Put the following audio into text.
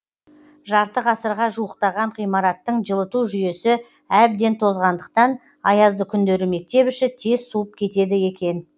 жарты ғасырға жуықтаған ғимараттың жылыту жүйесі әбден тозғандықтан аязды күндері мектеп іші тез суып кетеді екен